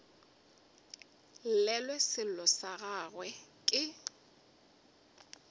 llelwe sello sa gagwe ke